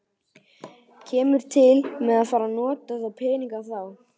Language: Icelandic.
Kemur til með að fara að nota þá peninga þá?